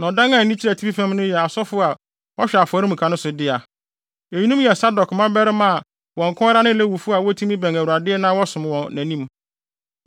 Na ɔdan a ani kyerɛ atifi fam no yɛ asɔfo a wɔhwɛ afɔremuka no so no dea. Eyinom yɛ Sadok mmabarima a wɔn nko ara ne Lewifo a wotumi bɛn Awurade na wɔsom wɔ nʼanim.”